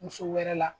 Muso wɛrɛ la